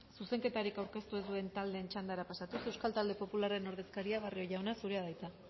zuzenketarik aurkeztu ez duen taldeen txandara pasatuz euskal talde popularraren ordezkaria barrio jauna zurea da hitza